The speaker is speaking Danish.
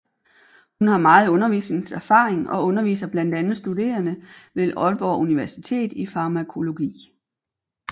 Hun har meget undervisningserfaring og underviser blandt andet studerende ved Aalborg Universitet i farmakologi